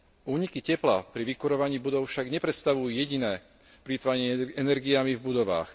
Úniky tepla pri vykurovaní budov však nepredstavujú jediné plytvanie energiami v budovách.